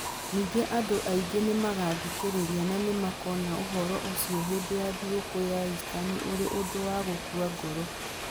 Ningĩ andũ aingĩ nĩ magathikĩrĩria na nĩ makoona ũhoro ũcio hĩndĩ ya thigũkũ ya Istanĩ ũrĩ ũndũ wa gũkua ngoro.